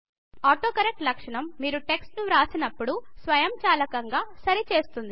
autocorrect లక్షణం మీరు text ను వ్రాస్తున్నప్పుడు స్వయంచాలకంగా సరి చేస్తుంది